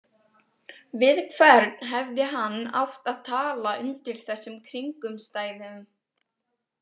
Við hvern hefði hann átt að tala undir þessum kringumstæðum?